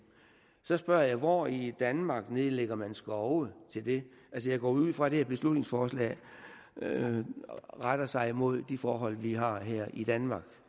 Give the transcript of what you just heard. så spørger jeg hvor i danmark nedlægger man skove til det jeg går ud fra at det her beslutningsforslag retter sig mod de forhold vi har her i danmark